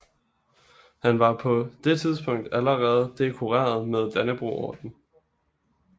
Han var på det tidspunkt allerede dekoreret med Dannebrogordenen